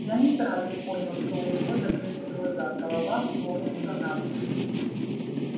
я не сразу понял что у него закрыты глаза голова клонится набок